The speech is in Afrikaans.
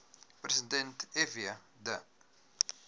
president fw de